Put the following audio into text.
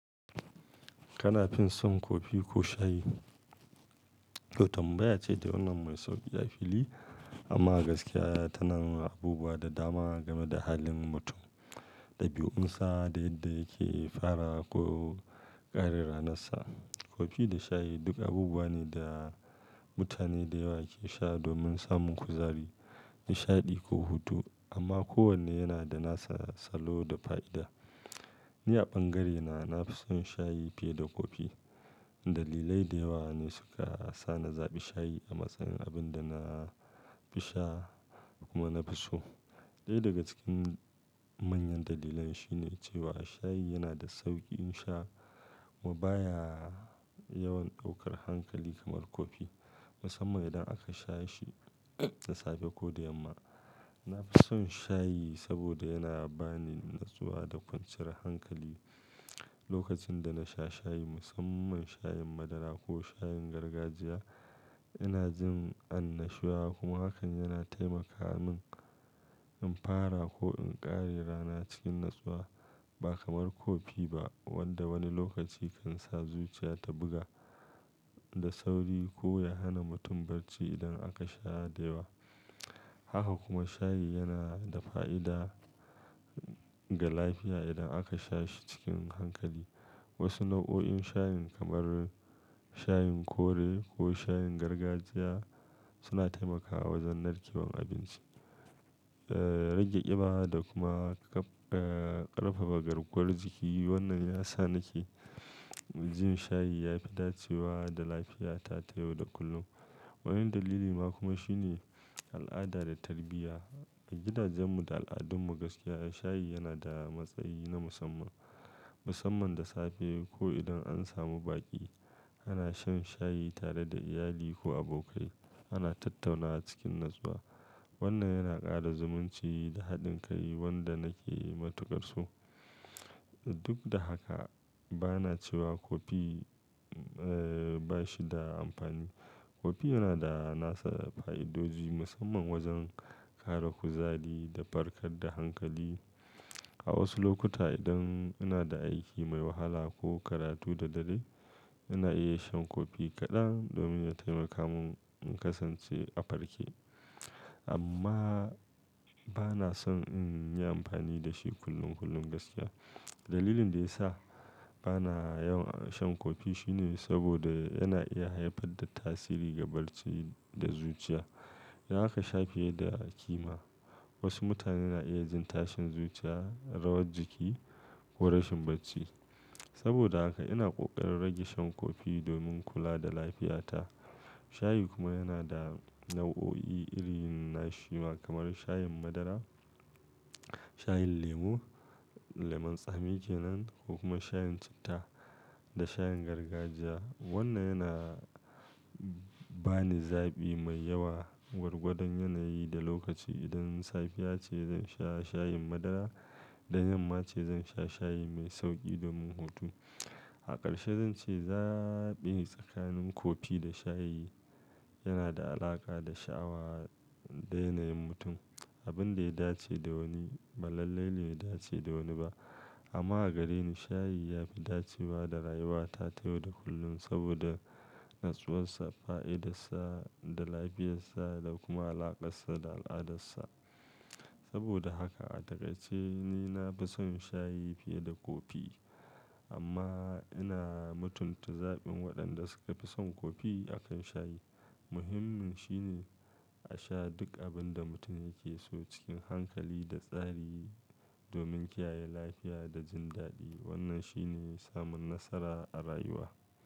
Kana fin son kofi ko shayi? Yau tambaya ce da wannan mai sauki a fili amma gaskiya tana abubuwa da dama game da halin mutum da biyunsa da yadda yake fara ko ƙare ranarsa. Kofi da shayi duk abubuwa ne da mutane da yawa ke sha domin samun kuzari, nishaɗi ko hutu amma kowanne yana da nasa salo da fa'ida. Ni a bangarena nafi son shayi fiye da kofi. Dalilai da yawa ne suka sa na zaɓi shayi a matsayin abin da nafi sha kuma nafi so. Ɗaya daga cikin manyan dalilai shine cewa shayi yana da sauƙin sha kuma baya yawan ɗaukar hankali kamar kofi, musamman idan aka sha shi da safe ko da yamma. Nafi son shayi saboda yana bani natsuwa da kwanciyar hankali lokacin da na sha shayi musamman shayin madara ko shayin gargajiya. Ina jin annashuwa kuma hakan yana taimaka min in fara ko in ƙare rana cikin natsuwa ba kamar kofi ba wanda wani lokaci kan sa zuciya ta buga da sauri ko ya hana mutum barci idan aka sha da yawa. Haka kuma shayi yana da fa'ida ga lafiya idan aka sha shi cikin hankali. Wasu nau'o'in shayin kamar shayin kore ko shayin gargajiya suna taimakawa wajen narkewar abinci, rage ƙiba da kuma ƙarfafa garkuwar jiki. Wannan ya sa nake jin shayi ya fi dacewa da lafiyata ta yau da kullum. Wani dalili ma kuma shine al'ada da tarbiyya. A gidajenmu da al'adunmu gaskiya shayi yana da matsayi na musamman, musamman da safe ko idan an samu baƙi. Ana shan shayi tare da iyali ko abokai, ana tattaunawa cikin natsuwa. Wannan yana ƙara zumunci da haɗin kai wanda nake matukar so. Duk da haka bana cewa kofi bashi da amfani. Kofi yana da nasa fa'idoji musamman wajen ƙara kuzari da farkar da hankali. A wasu lokuta idan ina da aiki mai wahala ko karatu da dare ina iya shan kofi kaɗan domin ya taimaka mun in kasance a farke. Amma bana son in yi amfani da shi kullum kullum gaskiya. Dalilin da ya sa bana yawan shan kofi shine saboda yana iya haifar da tasiri ga barci da zuciya in aka sha fiye da a ƙima. Wasu mutane na iya jin tashin zuciya, rawar jiki ko rashin barci. Saboda haka ina ƙoƙarin rage shan kofi domin kula da lafiyata. Shayi kuma yana da nau'o'i iri na shima kamar shayin madara, shayin lemo, lemon tsami ke nan ko kuma shayin citta da shayin gargajiya. Wannan yana bani zaɓi mai yawa gwargwadon yanayi da lokaci. Idan safiya ce zan sha shayin madara, da yamma ce zan sha shayi mai sauƙi domin hutu. A ƙarshe zan ce zaɓi tsakanin kofi da shayi yana da alaƙa da sha'awa da yanayin mutum. Abin da ya dace da wani ba lallai ne ya dace da wani ba. Amma a gare ni shayi ya fi dacewa da rayuwata ta yau da kullum saboda natsuwarsa, fa'idarsa da lafiyarsa da kuma alaƙarsa da al'adarsa. Saboda haka a taƙaice ni nafi son shayi fiye da kofi amma ina mutunta zaɓin waɗanda suka fi son kofi akan shayi. Muhimmin shine a sha duk abin da mutum yake so cikin hankali da tsari domin kiyaye lafiya da jin daɗi. Wannan shine samun nasara a rayuwa.